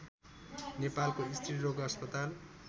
नेपालको स्त्रीरोग अस्पताल